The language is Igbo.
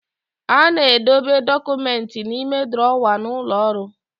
A na-edobe dọkụmenti n'ime drọwa n'ụlọ ọrụ.